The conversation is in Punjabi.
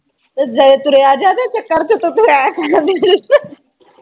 ਤੁਰਿਆ ਜਾਤੇ ਚੱਕਰ ਤੂੰ ਲੈ